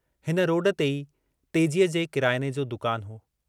हिन रोड ते ई तेजीअ जे किरायने जो दुकान हो।